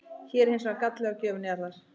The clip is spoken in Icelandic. Hér er hins vegar galli á gjöf Njarðar.